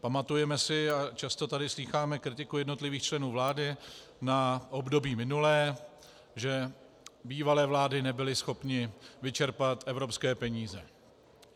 Pamatujeme si a často tady slýcháme kritiku jednotlivých členů vlády na období minulé, že bývalé vlády nebyly schopny vyčerpat evropské peníze.